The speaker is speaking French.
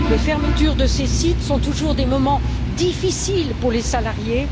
Les fermetures de ces sites sont toujours des moments difficiles pour les salariés.